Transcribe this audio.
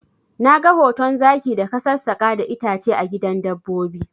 Na ga hoton zaki da ka sassaka da itace a gidan dabbobi